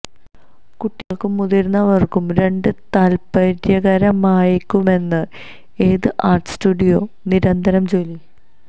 കുട്ടികൾക്കും മുതിർന്നവർക്കും രണ്ട് താൽപ്പര്യകരമായേക്കുമെന്ന് ഏത് ആർട്ട് സ്റ്റുഡിയോ നിരന്തരം ജോലി